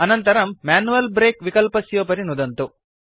अनन्तरं manual break विकल्पस्योपरि नुदन्तु